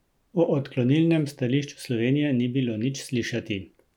O odklonilnem stališču Slovenije ni bilo nič slišati.